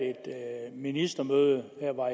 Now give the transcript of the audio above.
ministermøde